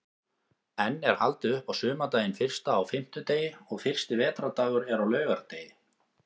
Enn er haldið upp á sumardaginn fyrsta á fimmtudegi og fyrsti vetrardagur er á laugardegi.